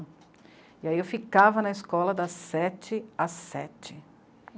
E aí eu ficava na escola das sete às sete.